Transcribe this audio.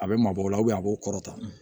A bɛ maa bɔ o la a b'o kɔrɔtan